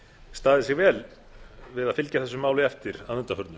staðið sig vel við að fylgja þessu máli eftir að undanförnu